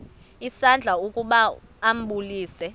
isandla ukuba ambulise